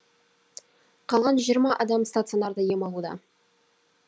қалған жиырма адам стационарда ем алуда